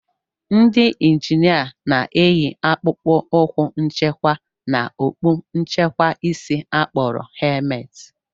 Ndị njinia na-eyi akpụkpọ ụkwụ nchekwa na okpu nchekwa isi a kpọrọ helmet